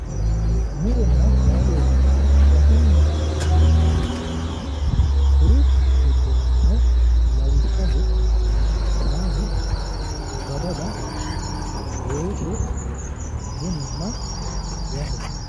Muronna laalo yineemmohu gatinni afi'neemmo kaashsho ikkanna kuri giddonnino lawishshaho, shaanu, badala, weese bununna wahe.